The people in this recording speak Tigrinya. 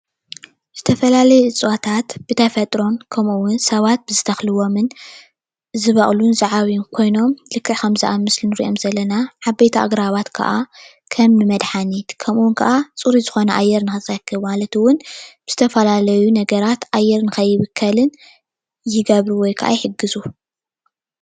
ዝተፈላለዩ እፅዋታት ብተፈጥሮን ከምኡ እውን ሰባት ዝተክልዎምን ዝወቅሉን ዝዓብዩን ክኖም ልክዕ ኣብ ምስሊ እንሪኦም ዘለና ዓበይቲ ኣግራባት ከዓ ከም መድሓኒት ከምኡ ከዓ ፅሩይ ዝኮነ ኣየር ክትረክብ ማለት እውን ብዝተፈላለዩ ነገር ኣየር ንከይብከልን ይገብሩ ወይ ከዓ ይሕግዙ፡፡